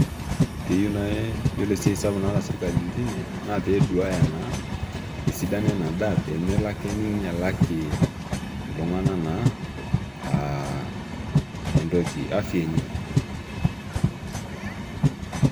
Keyieu naai Ore esiai sapuk naasita sirkali naa pee eduaya naa esidano endaa pee melo ake ninyialaki iltung'anak naa aa afya enye.